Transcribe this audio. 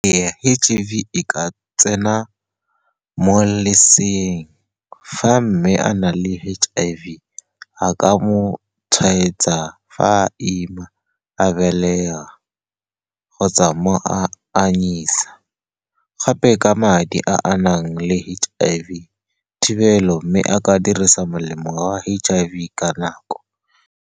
H_I_V e ka tsena mo leseeng fa mme a na le H_I_V, a ka mo tshwaetsa fa a ima, a belega kgotsa mo a anyisa, gape ka madi a a nang le H_I_V, thibelo mme a ka dirisa molemo wa H_I_V ka nako.